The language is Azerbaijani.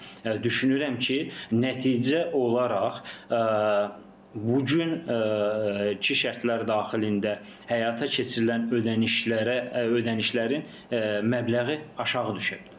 düşünürəm ki, nəticə olaraq bu gün ki şərtlər daxilində həyata keçirilən ödənişlərə, ödənişlərin məbləği aşağı düşə bilər.